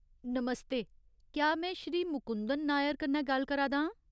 नमस्ते ! क्या में श्री मुकुंदन नायर कन्नै गल्ल करा दा आं ?